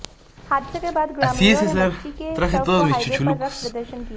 हादसे के बाद ग्रामीणों ने बच्ची के शव को हाईवे पर रख प्रदर्शन किया